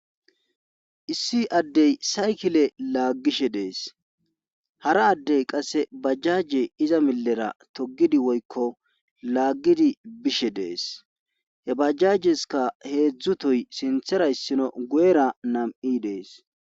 issi addey sayikile laaggishe dees.hara addey qasse bajaje iza milera togidi woykko laaggidi bishshe dees .he bajajessikka heedzdzu toyi sinthera issino guyera nam7i dees.